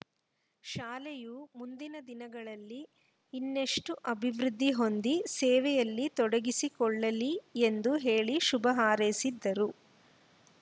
ಶಾಲೆಯು ಮುಂದಿನ ದಿನಗಳಲ್ಲಿ ಇನ್ನೆಷ್ಟುಅಭಿವೃದ್ಧಿ ಹೊಂದಿ ಸೇವೆಯಲ್ಲಿ ತೊಡಗಿಸಿಕೊಳ್ಳಲಿ ಎಂದು ಹೇಳಿ ಶುಭ ಹಾರೈಸಿದರು